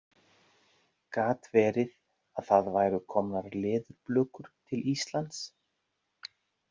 Gat verið að það væru komnar leðurblökur til Íslands?